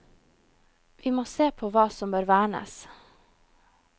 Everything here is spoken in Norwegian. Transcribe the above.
Vi må se på hva som bør vernes.